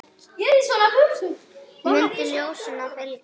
Mundu ljósinu að fylgja.